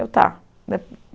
Eu, tá.